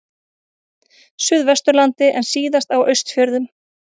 Suðvesturlandi en síðast á Austfjörðum.